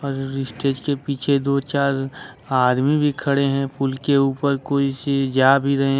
और स्टेज के पीछे दो चार आदमी भी खड़े हैं पुल के ऊपर कोई चीज जा भी रहे है।